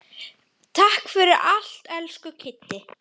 Takk fyrir allt, elsku Kiddi.